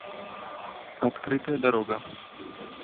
открытая дорога